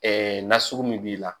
Ɛɛ nasugu min b'i la